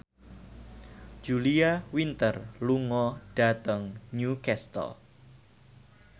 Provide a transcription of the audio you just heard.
Julia Winter lunga dhateng Newcastle